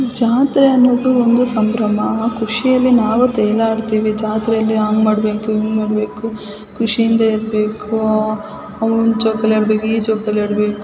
ಜಾತ್ರೆ ಅನ್ನೋದು ಒಂದು ಸಂಭ್ರಮ ಖುಷಿಯಲ್ಲಿ ನಾವು ತೇಲಾಡ್ತಿವಿ ಜಾತ್ರೆಯಲ್ಲಿ ಹಂಗ್ ಮಾಡಬೇಕು ಹಿಂಗ್ ಮಾಡಬೇಕು ಖುಷಿ ಇಂದ ಇರ್ಬೇಕು ಅವು ಜೋಕಾಲಿ ಆಡ್ಬೇಕು ಈ ಜೋಕಾಲಿ ಆಡ್ಬೇಕು.